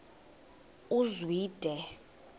uzwide